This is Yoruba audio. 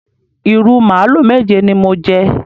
Ìrù màlúù méje ni mo jẹ.